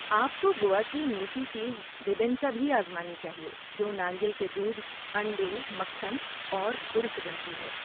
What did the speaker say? آپ کو گوا کی میٹھی چیز بیبینکا بھی آزمانی چاہیے جو ناریل کے دودھ، انڈے، مکھن اور گڑ سے بنتی ہے۔